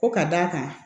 Ko ka d'a kan